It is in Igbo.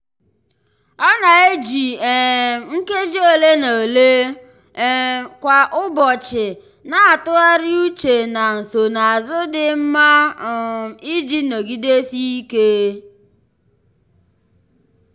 ọ na-eji um nkeji ole na ole um kwa ụbọchị na-atụgharị uche na nsonazụ dị mma um iji nọgidesike.